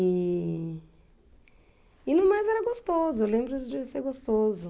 E... E no mais era gostoso, eu lembro de ser gostoso.